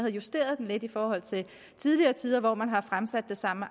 justeret det lidt i forhold til i tidligere tider hvor man har fremsat sammen